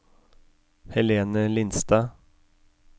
Helene Lindstad